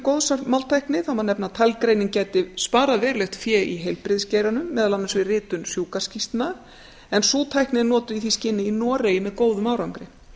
góðs af máltækni það má nefna að talgreining gæti sparað verulegt fé í heilbrigðisgeiranum meðal annars við ritun sjúkraskýrslna en sú tækni er notuð í því skyni í noregi með góðum árangri